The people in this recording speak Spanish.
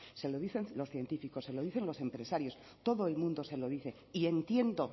se lo dicen los científicos se lo dicen los empresarios todo el mundo se lo dice y entiendo